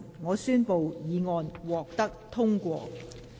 我宣布議案獲得通過。